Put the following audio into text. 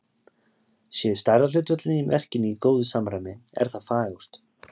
Séu stærðarhlutföllin í verkinu í góðu samræmi, er það fagurt.